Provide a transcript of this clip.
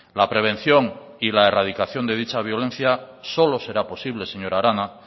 la prevención y la erradicación de dicha violencia solo será posible señora arana